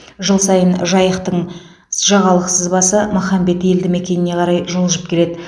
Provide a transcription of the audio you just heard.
жыл сайын жайықтың жағалық сызбасы махамбет елді мекеніне қарай жылжып келеді